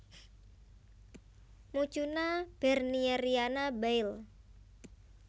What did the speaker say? Mucuna bernieriana Baill